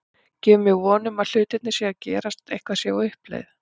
Gefur mér von um að hlutirnir séu að gerast, eitthvað sé á uppleið.